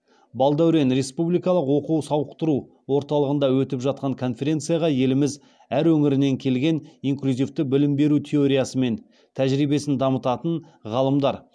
балдәурен республикалық оқу сауықтыру орталығында өтіп жатқан конференцияға еліміз әр өңірінен келген инклюзивті білім беру теориясы мен тәжірибесін дамытатын ғалымдар